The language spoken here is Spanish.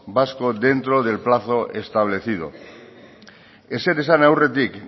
vasco dentro del plazo establecido ezer esan aurretik